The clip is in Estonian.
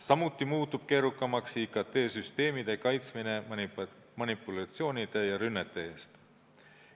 Samuti muutub keerukamaks IKT-süsteemide kaitsmine manipulatsioonide ja rünnete eest.